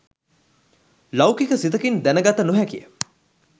ලෞකික සිතකින් දැනගත නොහැකිය.